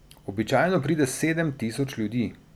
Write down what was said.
Običajno pride sedem tisoč ljudi.